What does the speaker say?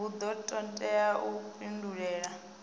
hu do todea u pindulela